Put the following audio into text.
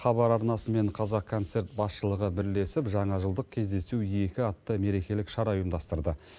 хабар арнасы мен қазақконцерт басшылығы бірлесіп жаңа жылдық кездесу екі атты мерекелік шара ұйымдастырды